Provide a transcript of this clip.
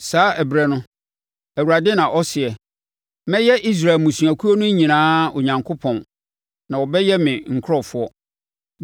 “Saa ɛberɛ no,” Awurade na ɔseɛ, “Mɛyɛ Israel mmusuakuo no nyinaa Onyankopɔn, na wɔbɛyɛ me nkurɔfoɔ.”